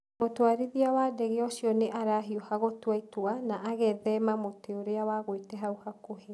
Mũtwarithia wa ndege ũcio nĩ arahiũha gũtua itua, na agethema mũtĩ ũrĩa wagũĩte hau hakuhĩ.